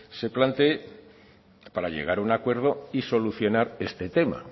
se plantee para llegar a un acuerdo y solucionar este tema